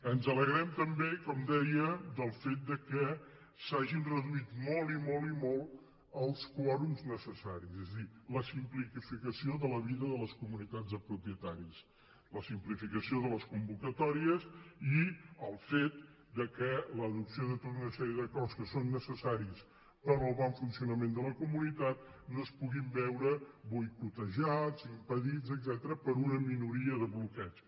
ens alegrem també com deia del fet que s’hagin reduït molt i molt i molt els quòrums necessaris és a dir la simplificació de la vida de les comunitats de propietaris la simplificació de les convocatòries i el fet que l’adopció de tota una sèrie de coses que són necessàries per al bon funcionament de la comunitat no es pugui veure boicotejada impedida etcètera per una minoria de bloqueig